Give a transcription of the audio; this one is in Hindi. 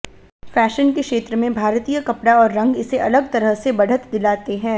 फैशन के क्षेत्र में भारतीय कपड़ा और रंग इसे अलग तरह की बढ़त दिलाते हैं